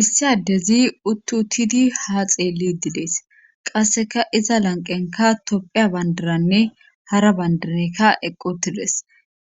issi addezi uttu utidi ha xeelli didees qasseka iza lanqenka topphiya bandiranne hara bandireykka eqqu tides